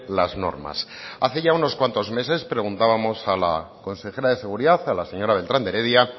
las normas hace ya unos cuantos meses preguntábamos a la consejera de seguridad a la señora beltrán de heredia